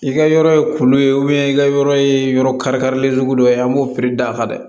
I ka yɔrɔ ye kuru ye i ka yɔrɔ ye yɔrɔ karilen sugu dɔ ye an b'o piri da kan dɛ